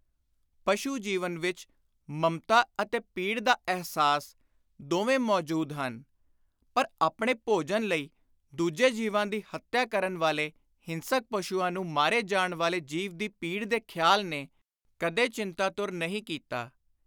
ਪਸ਼ੂ-ਜੀਵਨ ਵਿਚ ‘ਮਮਤਾ’ ਅਤੇ ‘ਪੀੜ ਦਾ ਅਹਿਸਾਸ’ ਦੋਵੇਂ ਮੌਜੂਦ ਹਨ, ਪਰ ਆਪਣੇ ਭੋਜਨ ਲਈ ਦੂਜੇ ਜੀਵਾਂ ਦੀ ਹੱਤਿਆ ਕਰਨ ਵਾਲੇ ਹਿੰਸਕ ਪਸ਼ੁਆਂ ਨੂੰ ਮਾਰੇ ਜਾਣ ਵਾਲੇ ਜੀਵ ਦੀ ਪੀੜ ਦੇ ਖ਼ਿਆਲ ਨੇ ਕਦੇ ਚਿੰਤਾਤੁਰ ਨਹੀਂ ਕੀਤਾ।